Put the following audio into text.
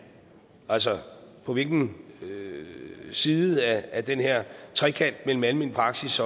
altså på hvilken side af den her trekant mellem almen praksis